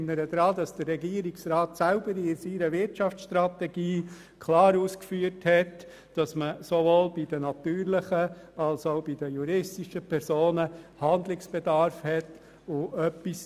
Ich erinnere daran, dass der Regierungsrat selber in seiner Wirtschaftsstrategie ausgeführt hat, dass sowohl bei den natürlichen als auch bei den juristischen Personen Handlungsbedarf besteht.